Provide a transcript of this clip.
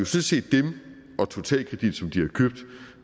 set dem og totalkredit som de har købt